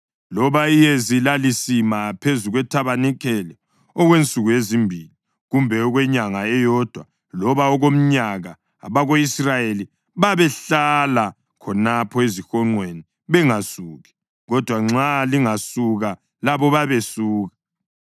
Loba iyezi lalisima phezu kwethabanikeli okwensuku ezimbili, kumbe okwenyanga eyodwa loba okomnyaka, abako-Israyeli babehlala khonapho ezihonqweni bangasuki; kodwa nxa lingasuka, labo babesuka.